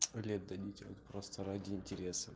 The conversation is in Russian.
лет дадите вот просто ради интереса